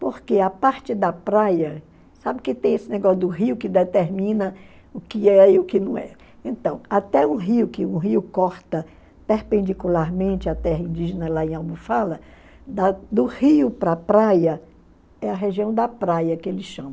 Porque a parte da praia, sabe que tem esse negócio do rio que determina o que é e o que não é. Então, até o rio, que o rio corta perpendicularmente à terra indígena, lá em Almofala, da do rio para a praia é a região da praia que eles chamam.